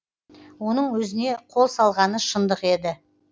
оның өзіне қол салғаны шындық еді